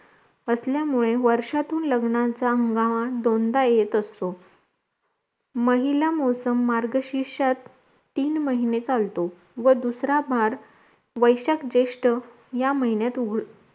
असल्या मुळे वर्षातून लग्नाचा हंगाम दोनदा येत असतो महिला मोसम मार्गशीर्षात तीन महिने चालतो व दुसरा भार वैशाख जेष्ठ या महिन्यात उग